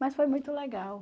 Mas foi muito legal.